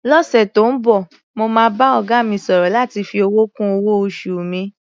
Lọ́sẹ̀ tó ń bọ̀, mo máa bá ọ̀gá mi sọ̀rọ̀ láti fi owó kún owó-oṣù mi.